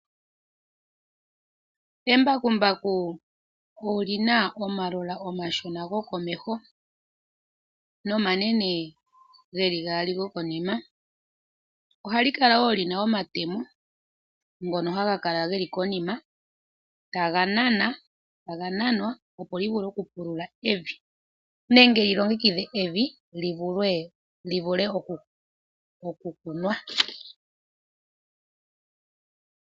Embakumbaku oli na omagulu omashona gokomeho nomanene ge li gaali gokonima. Ohali kala wo li na omatemo ngono ge li gaali haga kala konima, taga nanwa, opo li vule okupulula evi nenge yi longekidhe evi li vule okukunwa.